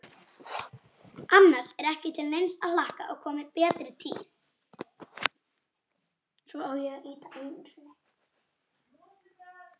Annars er ekki til neins að hlakka að komi betri tíð.